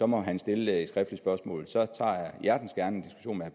må han stille et skriftligt spørgsmål så tager jeg hjertens gerne